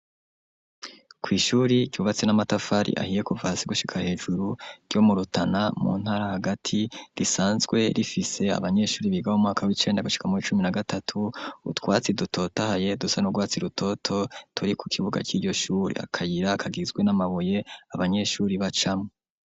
Kw'ishure ryubatse n'amatafari ahiye kuva hasi gushika hejuru ryo mu rutana mu ntara hagati risanzwe rifise abanyeshure biga mu mwaka w'icenda gushika muw'icumi na gatatu, utwatsi dutotahaye dusa n'urwatsi rutoto turi ku kibuga c'iryo shure, akayira kagizwe n'amabuye abanyeshure bacamwo.